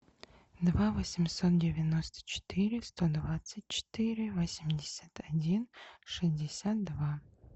два восемьсот девяносто четыре сто двадцать четыре восемьдесят один шестьдесят два